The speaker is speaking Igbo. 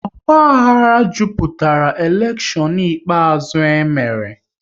Ogbahara jupụtara elekshon ikpeazụ e mere